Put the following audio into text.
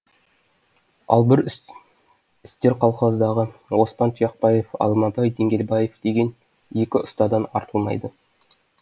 ал бір істер колхоздағы оспан тұяқбаев алмабай деңгелбаев деген екі ұстадан артылмайды